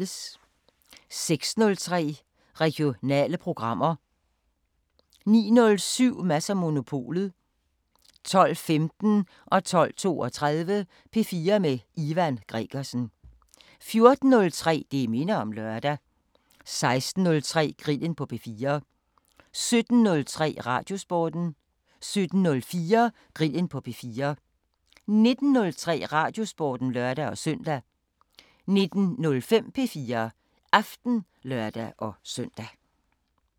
06:03: Regionale programmer 09:07: Mads & Monopolet 12:15: P4 med Ivan Gregersen 12:32: P4 med Ivan Gregersen 14:03: Det minder om lørdag 16:03: Grillen på P4 17:03: Radiosporten 17:04: Grillen på P4 19:03: Radiosporten (lør-søn) 19:05: P4 Aften (lør-søn)